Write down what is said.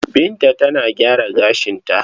Binta tana gyara gashin kanta.